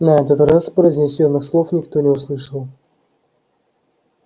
на этот раз произнесённых слов никто не услышал